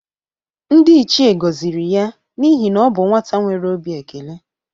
Ndị ichie gọzịrị ya n'ihe na ọ bụ nwata nwere obi ekele.